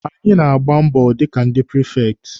Anyị na-agba mbọ dịka ndị prifekti.